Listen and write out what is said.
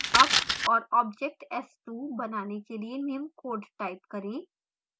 अब और object s2 बनाने के लिए निम्न code type करें